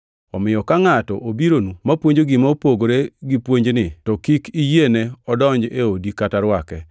Omiyo ka ngʼato obironu mapuonjo gima opogore gi puonjni to kik iyiene odonj e odi kata rwake,